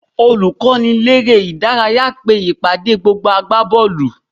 Olùkọ́niléré-ìdárayá pe ìpàdé gbogbo agbábọ́ọ̀lù